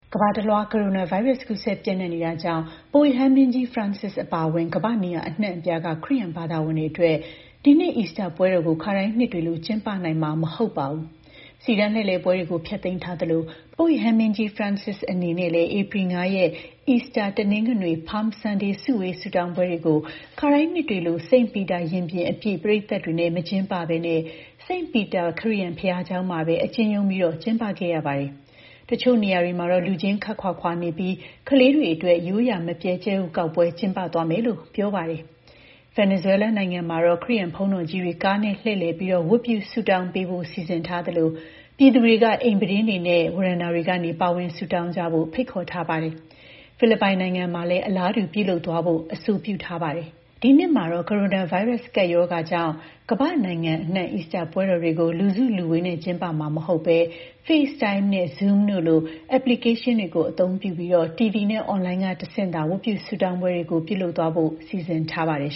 ကမ္ဘာတလွှား ကိုရိုနာဗိုင်းရပ်စ် ကူးစက်ပျံ့နှံ့နေတာကြောင့် ပုပ်ရဟန်းမင်းကြီး Francis အပါအဝင် ကမ္ဘာ့နေရာအနှံ့အပြားက ခရစ်ယာန် ဘာသာဝင်တွေအတွက် ဒီနှစ် အီစတာပွဲတော်ကို ခါတိုင်းနှစ်တွေလို ကျင်းပနိုင်မှာ မဟုတ်ပါဘူး။ စီတန်းလှည့်လည်ပွဲတွေကို ဖျက်သိမ်းထားသလို ပုပ်ရဟန်းမင်းကြီး Francis အနေနဲ့လည်း ဧပြီ ၅ ရက် အီစတာ တနင်္ဂနွေ Palm Sunday စုဝေး ဆုတောင်းပွဲတွေကို ခါတိုင်းနှစ်တွေလို St. Peter ရင်ပြင်အပြည့် ပရိသတ်တွေနဲ့ မကျင်းပဘဲ St. Peter ခရစ်ယာန်ဘုရားကျောင်းမှာပဲ အကျဉ်းချုံးပြီး ကျင်းပခဲ့ရပါတယ်။ တချို့နေရာတွေမှာတော့ လူချင်း ခပ်ခွာခွာနေကြပြီး ကလေးတွေအတွက် ရိုးရာမပျက် ကြက်ဥကောက်ပွဲ ကျင်းပသွားမယ်လို့ ပြောပါတယ်။ ဗင်နီဇွဲလားနိုင်ငံမှာတော့ ခရစ်ယာန်ဘုန်းတော်ကြီးတွေ ကားနဲ့လှည့်လည်ပြီး ဝတ်ပြုဆုတောင်းပေးဖို့ စီစဉ်ထားသလို ပြည်သူတွေက အိမ်ပြတင်းနဲ့ ဝရန်တာတွေကနေ ပါဝင်ဆုတောင်းကြဖို့ ဖိတ်ခေါ်ထားပါတယ်။ ဖိလစ်ပိုင်နိုင်ငံမှာလည်း အလားတူ ပြုလုပ်သွားဖို့ အဆိုပြုထားပါတယ်။ ဒီနှစ်မှာတော့ ကိုရိုနာဗိုင်းရပ်စ် ကပ်ရောဂါကြောင့် ကမ္ဘာ့နိုင်ငံအနှံ့ အီစတာပွဲတော်တွေကို လူစုလူဝေးနဲ့ ကျင်းပမှာမဟုတ်ဘဲ Face Time နဲ့ Zoom တို့လို application တွေကို အသုံးပြုပြီး TV နဲ့ အွန်လိုင်းက တဆင့်သာ ဝတ်ပြုဆုတောင်းပွဲတွေကို ပြုလုပ်သွားဖို့ စီစဉ်ထားကြပါတယ်